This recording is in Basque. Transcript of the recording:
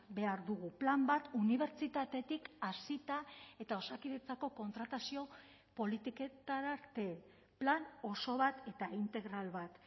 behar dugu plan bat unibertsitatetik hasita eta osakidetzako kontratazio politiketara arte plan oso bat eta integral bat